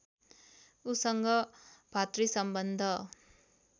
उससँग भातृसम्बन्ध